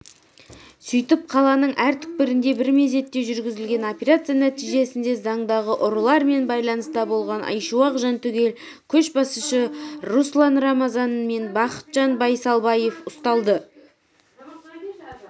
сөйтіп қаланың әр түкпірінде бір мезетте жүргізілген операция нәтижесінде заңдағы ұрылыармен байланыста болған айшуақ-жантүгел көшбасшысы руслан рамазан мен бақытжан байсалбаев ұсталды